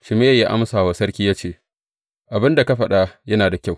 Shimeyi ya amsa wa sarki ya ce, Abin da ka faɗa yana da kyau.